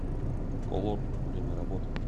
колор время работы